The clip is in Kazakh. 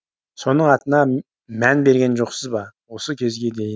соның атына мән берген жоқсыз ба осы кезге дейін